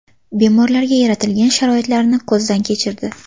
Bemorlarga yaratilgan sharoitlarni ko‘zdan kechirdi.